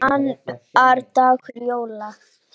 Annar dagur jóla.